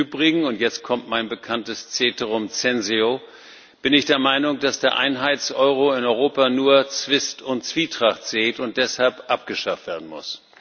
Im Übrigen und jetzt kommt mein bekanntes Ceterum censeo bin ich der Meinung, dass der Einheits Euro in Europa nur Zwist und Zwietracht sät und deshalb abgeschafft werden muss.